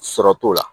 Sɔrɔ t'o la